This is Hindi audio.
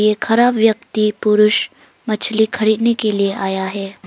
ये खड़ा व्यक्ति पुरुष मछली खरीदने के लिए आया है।